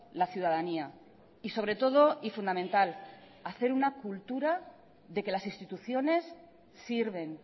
la ciudadanía y sobre todo y fundamental hacer una cultura de que las instituciones sirven